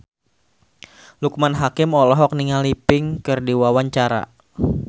Loekman Hakim olohok ningali Pink keur diwawancara